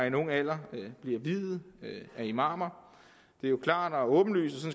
en ung alder bliver viet af imamer det er jo klart og åbenlyst og